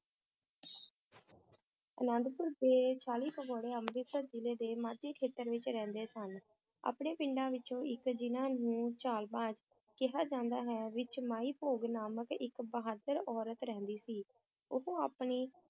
ਅਨੰਦਪੁਰ ਦੇ ਚਾਲੀ ਭਗੌੜੇ ਅਮ੍ਰਿਤਸਰ ਜ਼ਿਲੇ ਦੇ ਮਾਝੇ ਖੇਤਰ ਵਿਚ ਰਹਿੰਦੇ ਸਨ, ਆਪਣੇ ਪਿੰਡਾਂ ਵਿਚੋਂ ਇੱਕ, ਜਿਨ੍ਹਾਂ ਨੂੰ ਕਿਹਾ ਜਾਂਦਾ ਹੈ, ਵਿੱਚ ਮਾਈ ਭਾਗੋ ਨਾਮਕ ਇੱਕ ਬਹਾਦਰ ਔਰਤ ਰਹਿੰਦੀ ਸੀ, ਉਹ ਆਪਣੀ